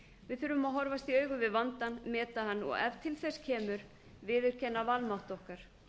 við þurfum að horfast í augu við vandann meta hann og ef til þess kemur viðurkenna vanmátt okkar